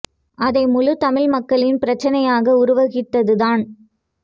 அதை முழுத் தமிழ் மக்களின் பிரச்சினையாக உருவகித்ததுதான்